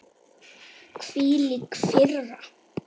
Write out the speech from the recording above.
Hvílík firra.